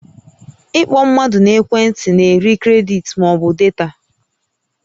Ị kpọ mmadụ n'ekwe ntị na-eri kredit ma ọ bụ data